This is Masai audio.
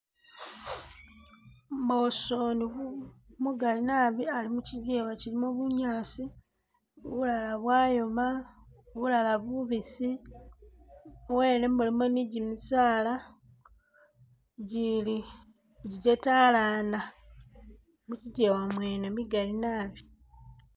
Mbosoni umugali nabi ali mukyijewa chilimo bunyaasi ,bulala bwayoma ,bulala bubisi, muwene mulimo ni gyimisaala gyili gyetalana mukyijewa mwene migaali nabi